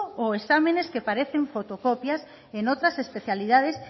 o exámenes que parecen fotocopias en otras especialidades